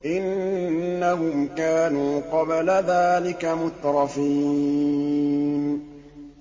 إِنَّهُمْ كَانُوا قَبْلَ ذَٰلِكَ مُتْرَفِينَ